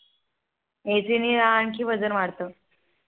AC ने आणखी वजन वाढत